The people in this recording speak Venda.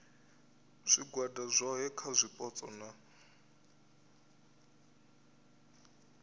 zwigwada zwohe kha zwipotso na